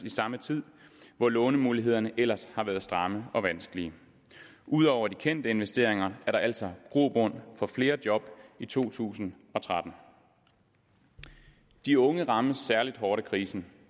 i samme tid hvor lånemulighederne ellers har været stramme og vanskelige ud over de kendte investeringer er der altså grobund for flere job i to tusind og tretten de unge rammes særlig hårdt af krisen